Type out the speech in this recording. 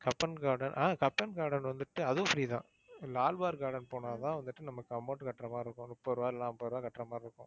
Cubbon garden ஆஹ் Cubbon garden வந்துட்டு அதுவும் free தான் லால் பார்க் garden போனா தான் வந்துட்டு நமக்கு amount கட்டுற மாதிரி இருக்கும் முப்பது ரூபாய் இல்லன்னா நாப்பது ரூபாய் கட்டுறமாதிரி இருக்கும்.